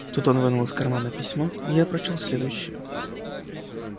тут он вынул из кармана письмо и я прочёл следующее